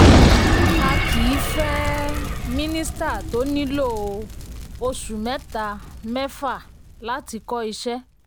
a kì í fẹ́ um minisita tó nílò um oṣù mẹ́ta-mẹ́fa láti kọ́ iṣẹ́.